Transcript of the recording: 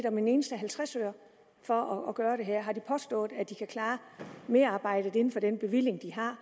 om en eneste halvtreds øre for at gøre det her har de påstået at de kan klare merarbejdet inden for den bevilling de har